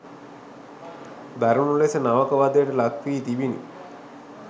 දරුණු ලෙස නවක වධයට ලක්වී තිබිණි.